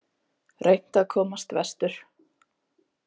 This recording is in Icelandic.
Reynt að komast vestur